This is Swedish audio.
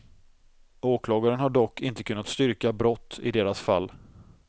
Åklagaren har dock inte kunnat styrka brott i deras fall.